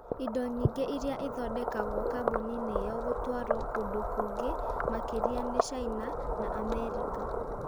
Indo nyingĩ iria ithondekagwo kambuni-inĩ ĩyo gũtwarũo kũndũ kũngĩ makĩria nĩ China na Amerika.